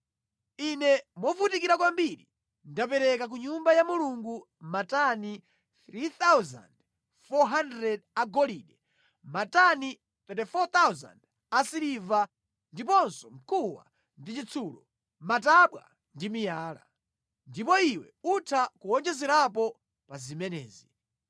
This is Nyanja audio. “Ine movutikira kwambiri ndapereka ku Nyumba ya Mulungu matani 3,400 agolide, matani 34,000 asiliva, ndiponso mkuwa ndi chitsulo, matabwa ndi miyala. Ndipo iwe utha kuwonjezerapo pa zimenezi.